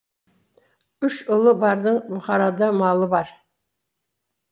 үш ұлы бардың бұхарада малы бар